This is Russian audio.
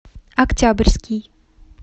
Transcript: октябрьский